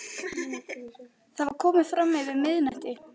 Það var komið fram yfir miðnætti.